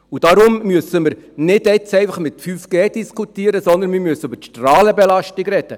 Und daher müssen wir jetzt nicht einfach über 5G diskutieren, sondern wir müssen über die Strahlenbelastung reden.